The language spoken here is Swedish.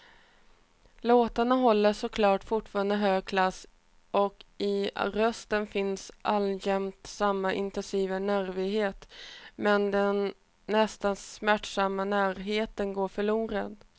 Låtarna håller såklart fortfarande hög klass och i rösten finns alltjämt samma intensiva nervighet, men den nästan smärtsamma närheten går förlorad.